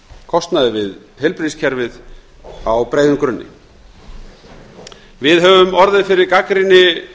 kostnaði við heilbrigðiskerfið á breiðum grunni við í stjórnarflokkunum höfum orðið fyrir gagnrýni